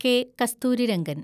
K. Kasturirangan